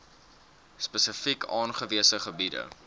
spesifiek aangewese gebiede